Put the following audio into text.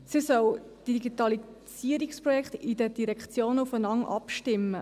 Sie soll die Digitalisierungsprojekte in den Direktionen aufeinander abstimmen.